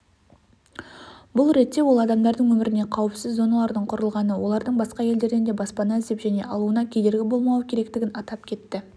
бұл ретте ол адамдардың өміріне қауіпсіз зоналардың құрылғаны олардың басқа елдерден де баспана іздеп және алуына кедергі болмауы керектігін атап кетті